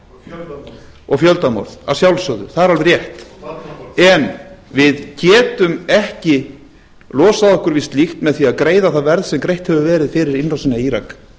og fjöldamorð og fjöldamorð að sjálfsögðu það er alveg rétt en við getum ekki losað okkur við slíkt með því að greiða það verð sem greitt hefur verið fyrir innrásina í írak